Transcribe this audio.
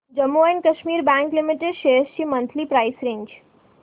Jammu and Kashmir bank limited shares ची monthly price range